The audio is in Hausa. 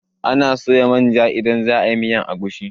Anaa soya manja idan za a yi miyar agushi.